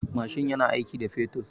Mashin yana aiki da man fetur.